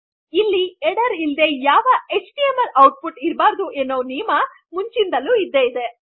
ಇಲ್ಲಿ ಹೆಡರ್ ಇಲ್ಲದೆ ಯಾವ ಎಚ್ಟಿಎಂಎಲ್ ಔಟ್ಪುಟ್ ಇರಬಾರದು ಎನ್ನುವ ನಿಯಮ ಮುಂದಿನಿನ್ದಲು ಇದ್ದೆ ಇದೆ